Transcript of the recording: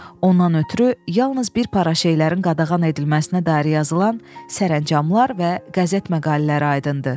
Ondan ötrü yalnız bir para şeylərin qadağan edilməsinə dair yazılan sərəncamlar və qəzet məqalələri aydın idi.